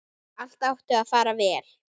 Allt átti að fara vel.